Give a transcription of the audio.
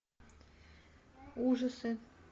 ужасы